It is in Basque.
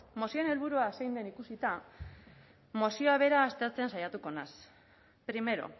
mozioaren helburua zein den ikusita mozioa bera aztertzen saiatuko naz primero